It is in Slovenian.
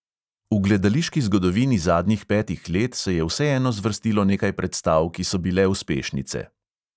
V gledališki zgodovini zadnjih petih let se je vseeno zvrstilo nekaj predstav, ki so bile uspešnice.